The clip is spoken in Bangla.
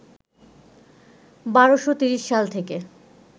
১২৩০ সাল থেকে